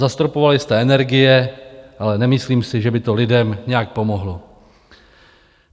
Zastropovali jste energie, ale nemyslím si, že by to lidem nějak pomohlo.